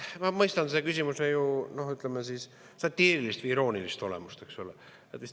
Ma mõistan selle küsimuse satiirilist, iroonilist olemust.